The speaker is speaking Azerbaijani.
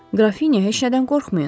Qrafinya, heç nədən qorxmayın.